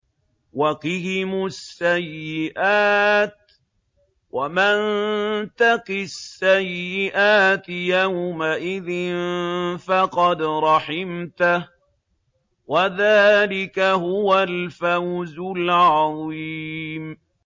وَقِهِمُ السَّيِّئَاتِ ۚ وَمَن تَقِ السَّيِّئَاتِ يَوْمَئِذٍ فَقَدْ رَحِمْتَهُ ۚ وَذَٰلِكَ هُوَ الْفَوْزُ الْعَظِيمُ